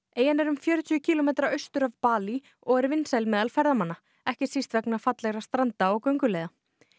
eyjan er um fjörutíu kílómetra austur af Balí og er vinsæl meðal ferðamanna ekki síst vegna fallegra stranda og gönguleiða